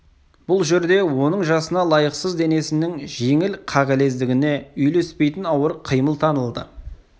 бұл жерде оның жасына лайықсыз денесінің жеңіл қағылездігіне үйлеспейтін ауыр қимыл танылды